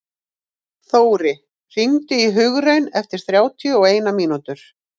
Þóri, hringdu í Hugraun eftir þrjátíu og eina mínútur.